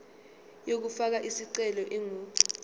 yokufaka isicelo ingu